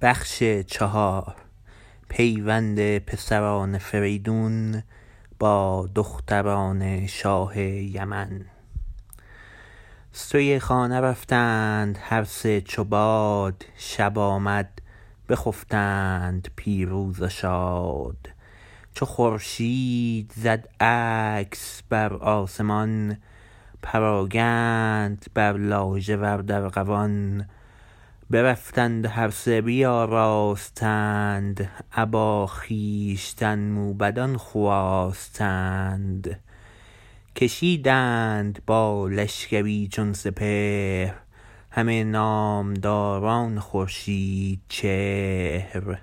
سوی خانه رفتند هر سه چوباد شب آمد بخفتند پیروز و شاد چو خورشید زد عکس برآسمان پراگند بر لاژورد ارغوان برفتند و هر سه بیاراستند ابا خویشتن موبدان خواستند کشیدند با لشکری چون سپهر همه نامداران خورشیدچهر